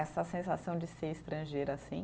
Essa sensação de ser estrangeira, assim.